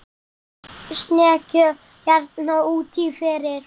Í snekkju hérna úti fyrir!